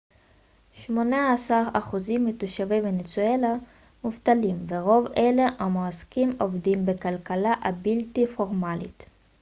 שמונה עשר אחוזים מתושבי ונצואלה מובטלים ורוב אלה המועסקים עובדים בכלכלה הבלתי פורמלית